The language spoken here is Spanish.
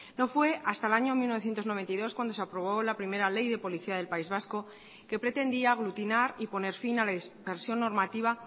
no fue hasta el año mil novecientos noventa y dos cuando se aprobó la primera ley de policía del país vasco que pretendía aglutinar y poner fin a la dispersión normativa